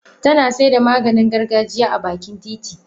Tana saida Maganin gargajiya a bakin titi.